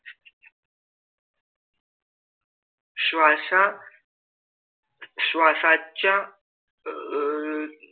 श्वासा श्वासाच्या अह